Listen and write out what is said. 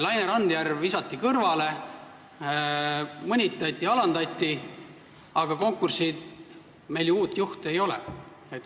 Laine Randjärv visati kõrvale, teda mõnitati ja alandati, aga uut juhti ju ei ole.